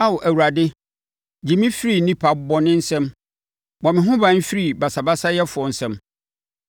Ao Awurade gye me firi nnipa bɔne nsam; bɔ me ho ban firi basabasayɛfoɔ nsam,